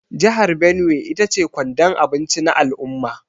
Jihar Benue ita ce kwandon abinci na al’umma.